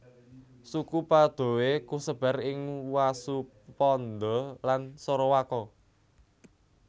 Suku Padoe kasebar ing Wasuponda lan Sorowako